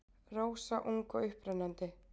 Rósa ung og upprennandi.